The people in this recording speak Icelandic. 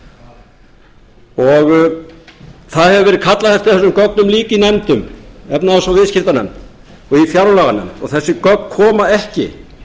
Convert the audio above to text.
það hefur verið kallað eftir þessum gögnum líka í nefndum efnahags og viðskiptanefnd og í fjárlaganefnd og þessi gögn koma ekki